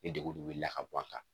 Ni degun de wulila ka bɔ an kan